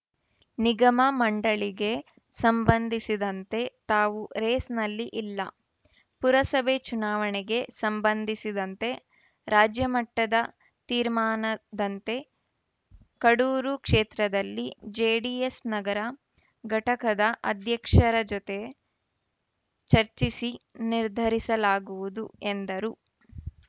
ನಿಗಮ ಮಂಡಳಿಗೆ ಸಂಬಂಧಿಸಿದಂತೆ ತಾವು ರೇಸ್‌ನಲ್ಲಿ ಇಲ್ಲ ಪುರಸಭೆ ಚುನಾವಣೆಗೆ ಸಂಬಂಧಿಸಿದಂತೆ ರಾಜ್ಯ ಮಟ್ಟದ ತೀರ್ಮಾನದಂತೆ ಕಡೂರು ಕ್ಷೇತ್ರದಲ್ಲಿ ಜೆಡಿಎಸ್‌ ನಗರ ಘಟಕದ ಅಧ್ಯಕ್ಷರ ಜೊತೆ ಚರ್ಚಿಸಿ ನಿರ್ಧರಿಸಲಾಗುವುದು ಎಂದರು